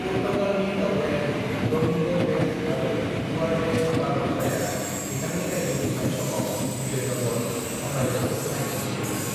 पुर्तगालनि दावबायारि Domingos' Paes आरो Duarte बारब'साआ बिथांनि रायजो खुंनाय समाव विजयनगर सामरायजोखौ नायनो फैदोंमोन।